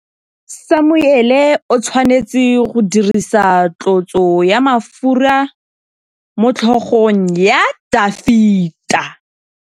Samuele o tshwanetse go dirisa tlotsô ya mafura motlhôgong ya Dafita.